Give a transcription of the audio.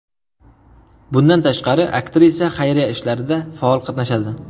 Bundan tashqari, aktrisa xayriya ishlarida faol qatnashadi.